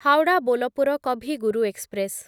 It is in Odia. ହାୱଡ଼ା ବୋଲପୁର କଭି ଗୁରୁ ଏକ୍ସପ୍ରେସ୍